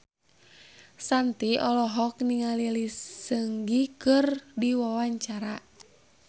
Shanti olohok ningali Lee Seung Gi keur diwawancara